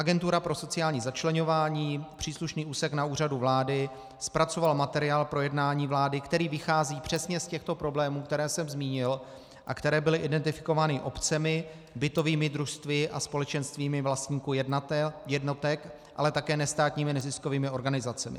Agentura pro sociální začleňování, příslušný úsek na Úřadu vlády, zpracovala materiál pro jednání vlády, který vychází přesně z těchto problémů, které jsem zmínil a které byly identifikovány obcemi, bytovými družstvy a společenstvími vlastníků jednotek, ale také nestátními neziskovými organizacemi.